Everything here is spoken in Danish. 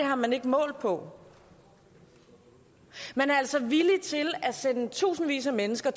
har man ikke målt på man er altså villig til at sende i tusindvis af mennesker